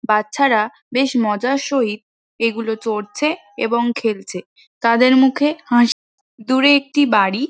বাচ্চারা বেশ মজার সহিত এইগুলো চড়ছে এবং খেলছে তাদের মুখে হাসি । দূরে একটি বাড়ি --